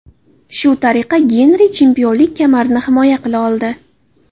Shu tariqa Genri chempionlik kamarini himoya qila oldi.